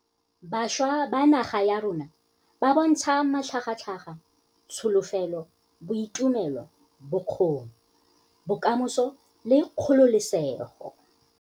Bašwa ba naga ya rona ba bo ntsha matlhagatlhaga, tsholofelo, boitumelo, bokgoni, bokamoso le kgololesego.